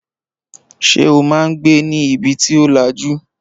Ṣé o máa ń gbé ní ibi tí ò lajú?